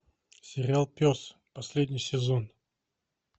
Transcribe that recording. сериал пес последний сезон